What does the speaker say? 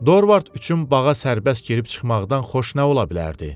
Dorvart üçün bağa sərbəst girib-çıxmaqdan xoş nə ola bilərdi?